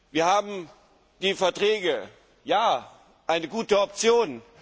Wir haben die Verträge. Ja, eine gute Option.